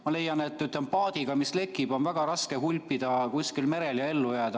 Ma leian, et paadiga, mis lekib, on väga raske hulpida kusagil merel ja ellu jääda.